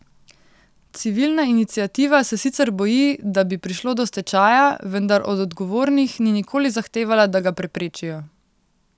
Civilna iniciativa se sicer boji, da bi prišlo do stečaja, vendar od odgovornih ni nikoli zahtevala, da ga preprečijo.